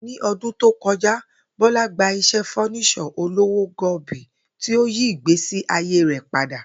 Ní o̩dún tó ko̩já, Bó̩lá gba is̩é̩ fó̩nís̩ò̩ olówó go̩bo̩i tí ó yí ìgbésí ayé rè̩ padà